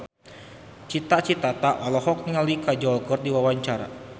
Cita Citata olohok ningali Kajol keur diwawancara